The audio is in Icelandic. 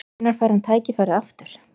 Hvenær fær hann tækifærið aftur?